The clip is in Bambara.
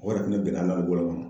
O yɛrɛ fɛnɛ bɛn na a ka